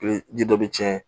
ji dɔ bi tiɲɛ